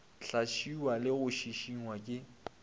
hlaswiwa le go šišingwa ke